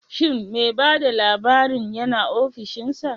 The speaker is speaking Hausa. Shin me bada labarin yina offishinsa?